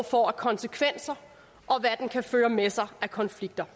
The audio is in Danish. får af konsekvenser og hvad den kan føre med sig af konflikter